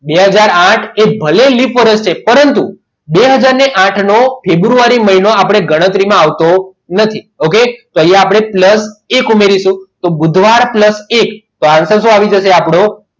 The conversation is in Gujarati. બે હાજર ને આઠ ભલે લીપ વર્ષ છે પરંતુ બે હાજર ને આઠ નો ફેબ્રુઆરી મહિનો આપણી ગણતરીમાં આવતો નથી okay તો અહીંયા આપણે plus એક ઉમેરીશું તો બુધવાર plus એક તો answer શું આવી જશે આપણું